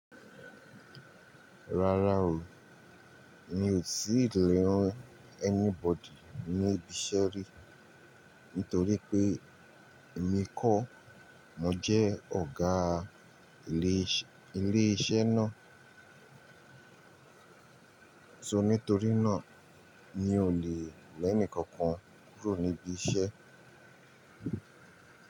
Rárá o, mi ò sí ìléhún anybody níbi iṣẹ́ rí, nítorí pé èmi kọ́ mo jẹ́ ọ̀gá ilé, ilé iṣẹ́ náà. So nítorí náà mi ò lè lẹ́ẹ́nìkan kankan kúrò níbí iṣẹ́.